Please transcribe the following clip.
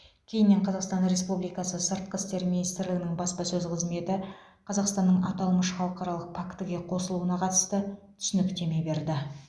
кейіннен қазақстан республикасы сыртқы істер министрлігінің баспасөз қызметі қазақстанның аталмыш халықаралық пактіге қосылуына қатысты түсініктеме берді